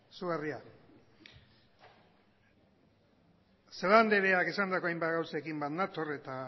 izugarria celaá andreak esandako hainbat gauzekin bat nator eta